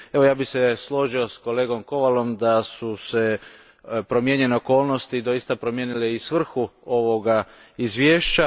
Ja bih se složio s kolegom Kowalom da su promijenjene okolnosti doista promijenile i svrhu ovoga izvješća.